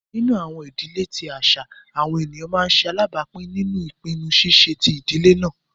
Nínu àwọn idílẹ̀ tí àṣà, àwọn ẹnia má nṣè alábápìn nínú ìpìnnú ṣíṣẹ̀ tí idílẹ̀ náà.